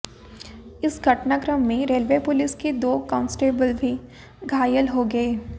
इस घटनाक्रम में रेलवे पुलिस के दो कांस्टेबल भी घायल हो गए